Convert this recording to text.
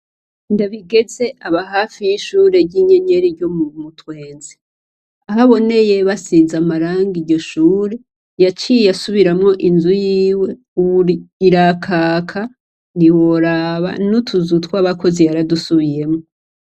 NDABIGEZE aba hafi yishure ryinyenyeri ryo Kumutwenzi ahaboneye basize amarangi iryo shure yaciye asubiramwo inzu yiwe ubu irakaka ntiworaba n'utuzu twabakozi yaradusubiyemwo.